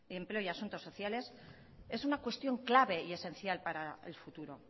empleo y asuntos sociales es una cuestión clave y esencial para el futuro